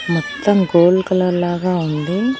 మొత్తం gold colour లాగా ఉంది.